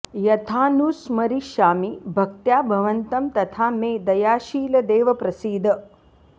यथानुस्मरिष्यामि भक्त्या भवन्तं तथा मे दयाशील देव प्रसीद